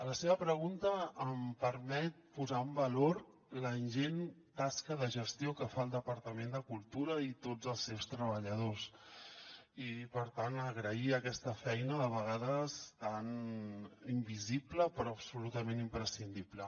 la seva pregunta em permet posar en valor la ingent tasca de gestió que fan el departament de cultura i tots els seus treballadors i per tant agrair aquesta feina de vegades tan invisible però absolutament imprescindible